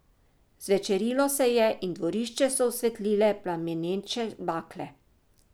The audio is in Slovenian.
Zvečerilo se je in dvorišče so osvetlile plameneče bakle.